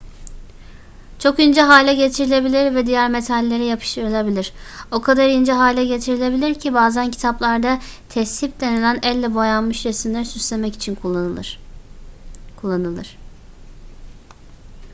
çok ince hale getirilebilir ve diğer metallere yapıştırılabilir o kadar ince hale getirilebilir ki bazen kitaplarda tezhip denilen elle boyanmış resimleri süslemek için kullanılır